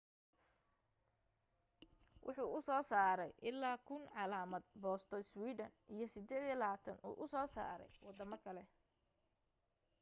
wuxuu usoo saaray ilaa 1,000 calaamad boosto sweden iyo 28 uu usoo saaray wadamo kale